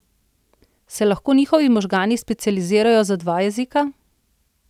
Se lahko njihovi možgani specializirajo za dva jezika?